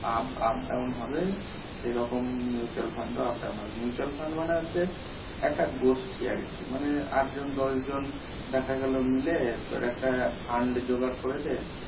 up up down হবে সে রকম mutual fund ও up down mutual fund মানে হচ্ছে একটা গোষ্ঠী আরকি মানে আঠ জন দশ জন দেখাগেলো মিলে তোর একটা fund জোগাড় করেছে